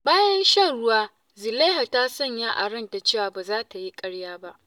Bayan shan ruwa, Zulaiha ta sanya a ranta cewa ba za ta yi ƙarya ba.